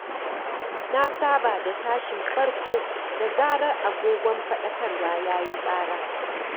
Na saba da tashin farko da zarar agogon faɗakarwa ya yi ƙara.